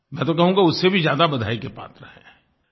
मैं तो कहूँगा उससे भी ज्यादा बधाई के पात्र हैं